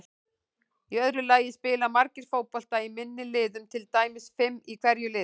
Í öðru lagi spila margir fótbolta í minni liðum, til dæmis fimm í hverju liði.